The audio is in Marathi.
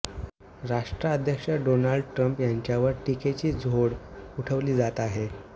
राष्ट्राध्यक्ष डोनाल्ड ट्रम्प यांच्यावर टीकेची झोड उठवली जात आहे